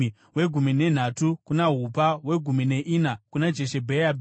wegumi nenhatu kuna Hupa, wegumi neina kuna Jeshebheabhi,